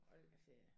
Hold da ferie